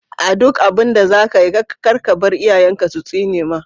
A duk abinda zakayi kar kabar iyayen ka su tsinema.